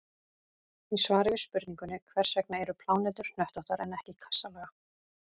Í svari við spurningunni Hvers vegna eru plánetur hnöttóttar en ekki kassalaga?